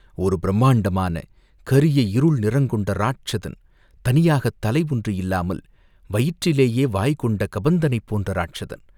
ஒரு பிரம்மாண்டமான கரிய இருள் நிறங் கொண்ட ராட்சதன், தனியாகத் தலை ஒன்று இல்லாமல் வயிற்றிலேயே வாய்கொண்ட கபந்தனைப் போன்ற ராட்சதன்.